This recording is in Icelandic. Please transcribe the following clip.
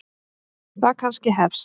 Það kannski hefst.